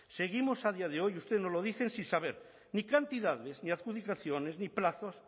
seguimos a día de hoy y ustedes nos lo dicen sin saber ni cantidades ni adjudicaciones ni plazos